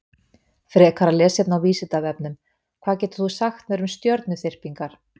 Frekara lesefni á Vísindavefnum: Hvað getur þú sagt mér um stjörnuþyrpingar?